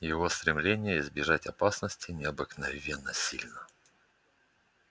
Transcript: его стремление избежать опасности необыкновенно сильно